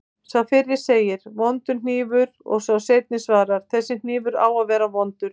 Sá fyrri segir: Vondur hnífur og sá seinni svarar: Þessi hnífur á að vera vondur